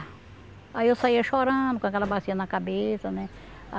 Aí eu saía chorando com aquela bacia na cabeça, né?